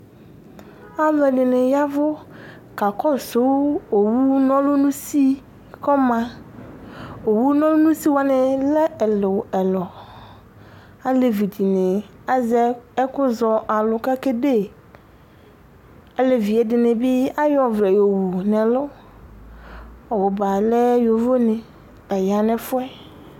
aluɛdɩnɩ yavʊ kakɔsʊ owu nɔlʊ nʊ usiwanɩ ma, owu wanɩ lɛ ɛluɛlu, alevi dɩnɩ azɛ ɛku zɔalʊ kʊ akazɛ iyeye, ɩdɩnɩbɩ, ayɔ ɔvlɛ yɔwu nɛlʊ, ɔbʊba alɛ ɛtufuenɩ